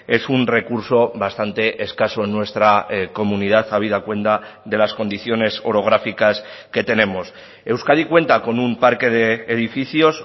es un recurso bastante escaso en nuestra comunidad habida cuenta de las condiciones orográficas que tenemos euskadi cuenta con un parque de edificios